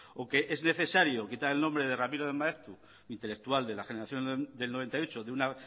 o que es necesario quitar el nombre de ramiro de maeztu intelectual de la generación del noventa y ocho de una